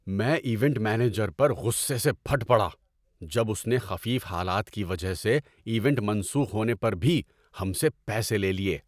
‏میں event manager پر غصے سے پھٹ پڑا جب اس نے خفیف حالات کی وجہ سے ایونٹ منسوخ ہونے پر بھی ہم سے پیسے لے لیے۔